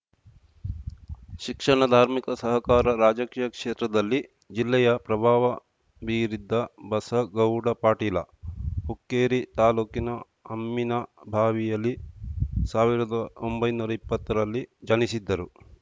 ಶಿಕ್ಷಣ ಧಾರ್ಮಿಕ ಸಹಕಾರ ರಾಜಕೀಯ ಕ್ಷೇತ್ರದಲ್ಲಿ ಜಿಲ್ಲೆಯ ಪ್ರಭಾವ ಬೀರಿದ್ದ ಬಸಗೌಡ ಪಾಟೀಲ ಹುಕ್ಕೇರಿ ತಾಲೂಕಿನ ಅಮ್ಮಿನಭಾವಿಯಲ್ಲಿ ಸಾವಿರದ ಒಂಬೈನೂರ ಇಪ್ಪತ್ತರಲ್ಲಿ ಜನಿಸಿದ್ದರು